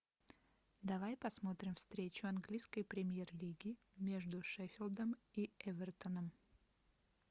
давай посмотрим встречу английской премьер лиги между шеффилдом и эвертоном